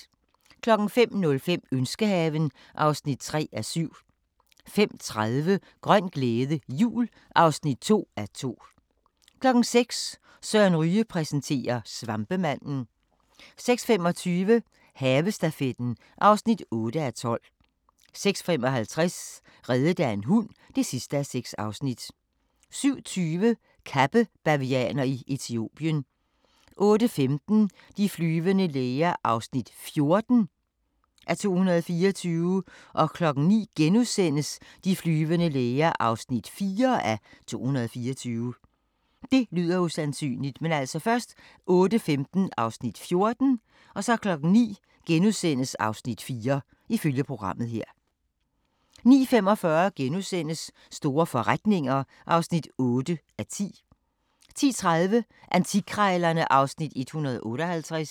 05:05: Ønskehaven (3:7) 05:30: Grøn glæde, jul (2:2) 06:00: Søren Ryge præsenterer: Svampemanden 06:25: Havestafetten (8:12) 06:55: Reddet af en hund (6:6) 07:20: Kappebavianer i Etiopien 08:15: De flyvende læger (14:224) 09:00: De flyvende læger (4:224)* 09:45: Store forretninger (8:10)* 10:30: Antikkrejlerne (Afs. 158)